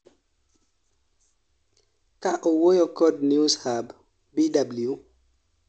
ka owuoyo kod Newshub, Bw